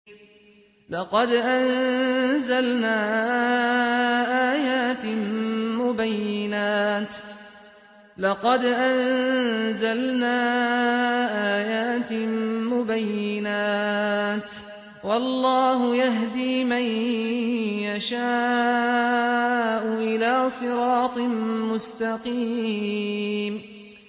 لَّقَدْ أَنزَلْنَا آيَاتٍ مُّبَيِّنَاتٍ ۚ وَاللَّهُ يَهْدِي مَن يَشَاءُ إِلَىٰ صِرَاطٍ مُّسْتَقِيمٍ